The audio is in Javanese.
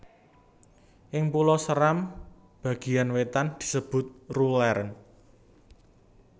Ing Pulo Seram bagiyan wetan disebut rulen